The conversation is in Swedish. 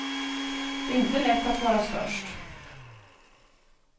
Det är inte lätt att vara störst.